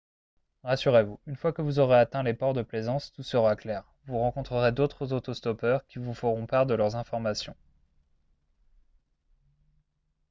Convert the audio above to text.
rassurez-vous une fois que vous aurez atteint les ports de plaisance tout sera clair vous rencontrerez d'autres auto-stoppeurs qui vous feront part de leurs informations